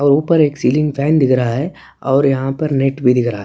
और ऊपर एक सीलिंग फैन दिख रहा है और यहाँ पर नेट भी दिख रहा है।